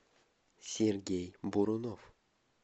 сергей бурунов